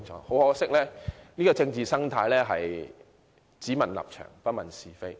很可惜，現今的政治生態是"只問立場，不問是非"。